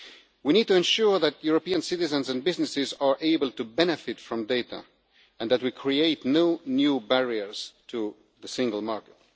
We need to ensure that European citizens and businesses are able to benefit from data and that we create no new barriers to the single market.